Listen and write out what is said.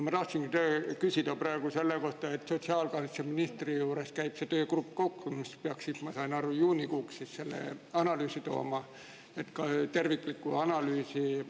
Ma tahtsin küsida praegu selle kohta, et sotsiaalkaitseministri juures käib koos töögrupp, mis peaks siis, nagu ma aru sain, juunikuuks selle analüüsi, tervikliku analüüsi.